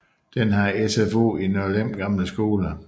Den har SFO i Nørlem gamle skole